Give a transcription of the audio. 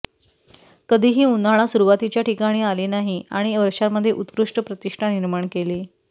कधीही उन्हाळा सुरुवातीच्या ठिकाणी आले नाही आणि वर्षांमध्ये उत्कृष्ट प्रतिष्ठा निर्माण केली